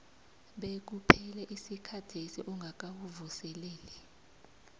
bekuphele isikhathesi ungakawuvuseleli